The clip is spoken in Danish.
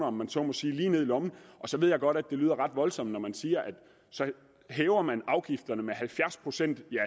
om man så må sige lige ned i lommen så ved jeg godt at det lyder ret voldsomt når man siger at så hæver man afgifterne med halvfjerds procent ja